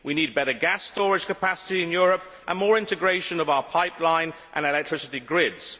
We need better gas storage capacity in Europe and more integration of our pipeline and electricity grids.